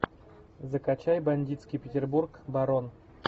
закачай бандитский петербург барон